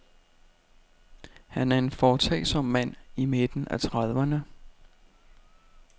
Han er en foretagsom mand i midten af trediverne.